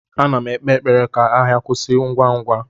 M na-ekpe ekpere ka agha kwụsị ngwa ngwa.